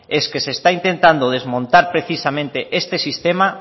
es que se está intentando desmontar precisamente este sistema